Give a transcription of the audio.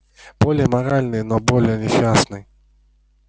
более моральный но более несчастный